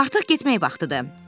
Artıq getmək vaxtıdır.